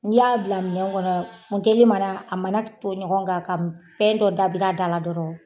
N'i y'a bila minɛn kɔnɔ funteli mana, a mana ton ɲɔgɔn kan ka fɛn dɔ dabir'a dala dɔrɔn